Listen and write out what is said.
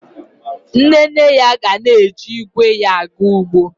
Nne nne ya ga na-eji igwe ya aga ugbo